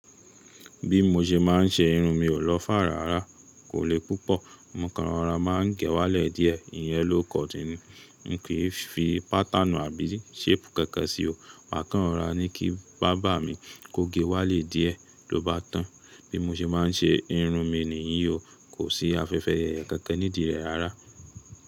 Bí mo ṣe máà ń ṣe irun mi ò lọ́ far ràrá, kò le púpọ̀. Mo kàn rọra máà ń gẹ wálẹ̀ díẹ̀, ìyẹ́n low cut ní. N kii fi pattern àbí shape kankan sí o. Mà kàn rọra ni kí barber mi kó ge wálẹ̀ díẹ̀ lóbá tàn. Bí mo ṣe máà ń ṣe irun mi níyì o, kò sí afẹ́fẹ́ yẹ̀yẹ kankan nídi rẹ̀ rará.